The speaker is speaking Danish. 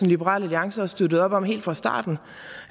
liberal alliance har støttet op om helt fra starten